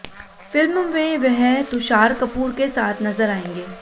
film में वह तुषार कपूर के साथ नजर आएंगे